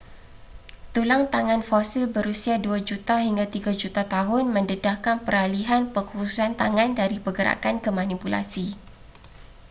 tulang tangan fosil berusia dua juta hingga tiga juta tahun mendedahkan peralihan pengkhususan tangan dari pergerakan ke manipulasi